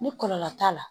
Ni kɔlɔlɔ t'a la